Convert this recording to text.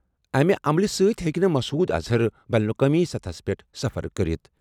اَمہِ عملہِ سۭتۍ ہیٚکہِ نہٕ مسعود اظہر بین الاقوٲمی سطحس پٮ۪ٹھ سفر کٔرِتھ۔